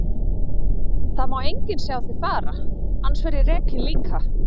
Það má enginn sjá þig fara, annars verð ég rekinn líka.